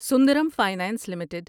Sundaram finance limited